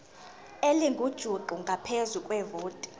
elingujuqu ngaphezu kwevoti